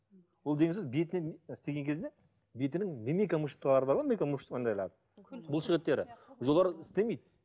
бұл деген сөз бетіне істеген кезде бетінің мимика мышцалары бар ғой бұлшық еттері жоғары істемейді